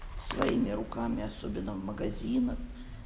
своими руками особенно в магазинах